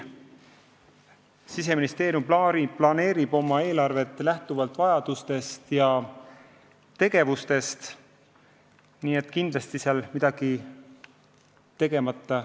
Siseministeerium planeerib oma eelarvet lähtuvalt vajadustest ja tegevustest, kindlasti ei jää seal midagi olulist tegemata.